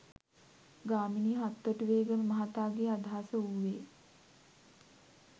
ගාමිණී හත්තොටුවේගම මහතාගේ අදහස වූවේ